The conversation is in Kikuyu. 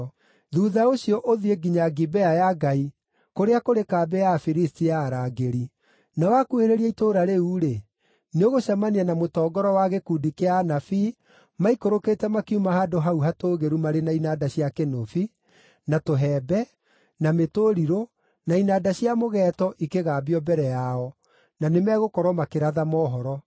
“Thuutha ũcio ũthiĩ nginya Gibea ya Ngai, kũrĩa kũrĩ kambĩ ya Afilisti ya arangĩri. Na wakuhĩrĩria itũũra rĩu-rĩ, nĩũgũcemania na mũtongoro wa gĩkundi kĩa anabii maikũrũkĩte makiuma handũ hau hatũũgĩru marĩ na inanda cia kĩnũbi, na tũhembe, na mĩtũrirũ, na inanda cia mũgeeto ikĩgambio mbere yao, na nĩmegũkorwo makĩratha mohoro.